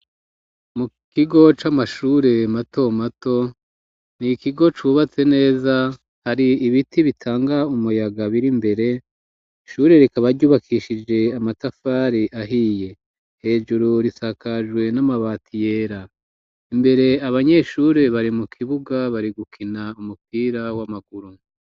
Mu kigo c'amashure mato mato n'ikigo cubatse neza hari ibiti bitanga umuyaga birimbere ishure rikaba ryubakishije amatafari ahiye hejuru risakajwe n'amabati yera imbere abanyeshure bari mu kibuga bari gukina umupira w'amaguru.